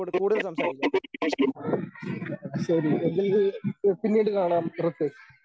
ശരി എങ്കിൽ പിന്നീട് കാണാം ഋഥ്വിക്.